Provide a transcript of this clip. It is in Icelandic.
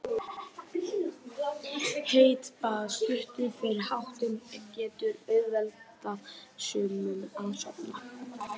Heitt bað stuttu fyrir háttinn getur auðveldað sumum að sofna.